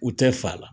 U tɛ fa la